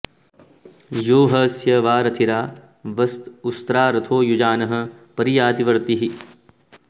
यो ह स्य वां रथिरा वस्त उस्रा रथो युजानः परियाति वर्तिः